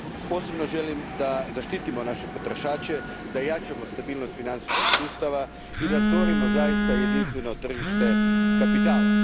Posebno želim da zaštitimo naše potrošače, da jačamo stabilnost financijskog sustava i da stvorimo zaista jedinstveno tržište kapitala.